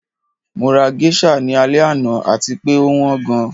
Mo ra geisha ni alẹ ana ati pe o wan gan